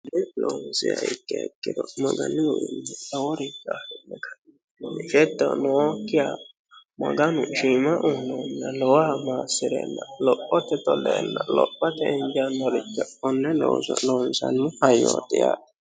loonsiya ikke hekkiro magalihuinni doworimganfettonookkiya maganu shiima uunounna lowoha maassi'reenna lophote toleenna lophote indiyannolicha onne loonsannu hayyooxi a